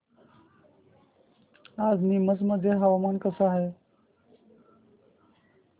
आज नीमच मध्ये हवामान कसे आहे